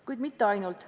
Kuid mitte ainult.